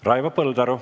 Raivo Põldaru.